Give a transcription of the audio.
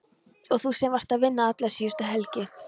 Og þú sem varst að vinna alla síðustu helgi!